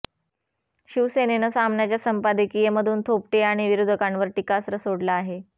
शिवसेनेनं सामनाच्या संपादकीयमधून थोपटे आणि विरोधकांवर टीकास्त्र सोडलं आहे